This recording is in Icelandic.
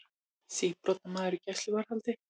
Síbrotamaður í gæsluvarðhaldi